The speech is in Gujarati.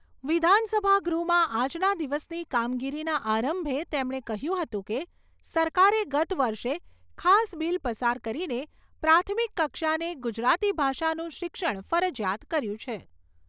વિધાનસભા ગૃહમાં આજના દિવસની કામગીરીના આરંભે તેમણે કહ્યું હતું કે, સરકારે ગત વર્ષે ખાસ બિલ પસાર કરીને પ્રાથમિક કક્ષાને ગુજરાતી ભાષાનું શિક્ષણ ફરજિયાત કર્યું છે.